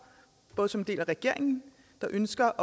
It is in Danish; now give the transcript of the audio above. både som en del af regeringen der ønsker